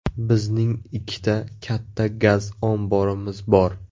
Bizning ikkita katta gaz omborimiz bor.